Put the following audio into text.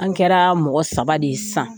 An kɛra mɔgɔ saba de ye sisan.